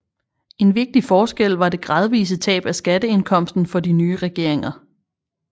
En vigtig forskel var det gradvise tab af skatteindkomsten for de nye regeringer